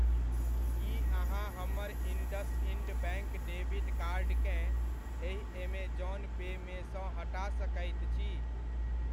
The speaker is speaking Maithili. की अहाँ हमर इण्डसइण्ड बैङ्क डेबिट कार्ड केँ एहि ऐमेज़ौन पे मे सँ हटा सकैत छी?